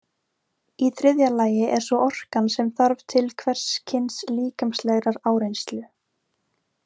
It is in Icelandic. Í þriðja lagi er svo orkan sem þarf til hvers kyns líkamlegrar áreynslu.